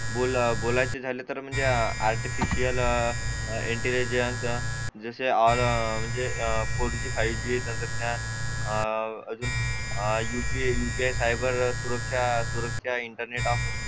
बोला बोलायचे झाले तर म्हणजे आर्टिफिशियल इंटेलिजन्स म्हणजे जसे फोर जी फाईव्ह जी तंत्रज्ञान अह अजून UPIUPI सायबर च्या सुरक्षा इंटरनेट